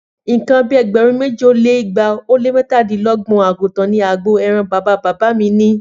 Nǹkan bí ẹgbẹ̀rún méjì ó lé igba ó lé mẹ́tàdínlọ́gbọ̀n àgùntàn ni agbo ẹran bàbá bàbá mi ní